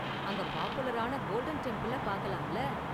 அங்க பாப்புலரான கோல்டன் டெம்பிள பார்க்கலாம்ல.